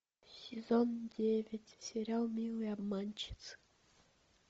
сезон девять сериал милые обманщицы